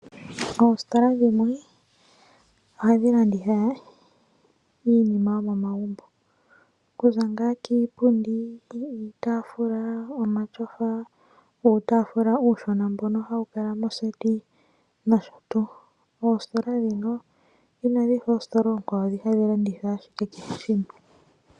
Oositola dhimwe ohadhi landitha iinima yomomagumbo kuza ngaa kiipundi ,iitafula ,omatsofa nuutafula mbono uushona hawu kala moseti nosho tuu ,oositola dhika inadhifa oositola oonkwawo dhi hadhi landitha ashike kehe shimwe.